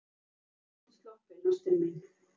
Þá ertu sloppin, ástin mín.